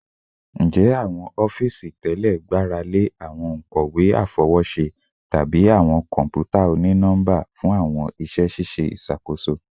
Njẹ awọn ọfiisi tẹlẹ gbarale awọn onkọwe afọwọṣe tabi awọn kọnputa oni-nọmba fun awọn iṣẹ ṣiṣe iṣakoso?